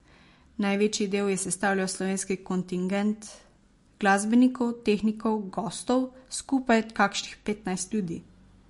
Največji del je sestavljal slovenski kontingent glasbenikov, tehnikov, gostov, skupaj kakšnih petnajst ljudi.